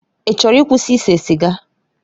Ị chọrọ ịkwụsị ise siga?